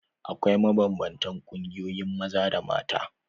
Akwai mabanbantan ƙungiyoyin maza da mata.